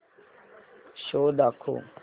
show दाखव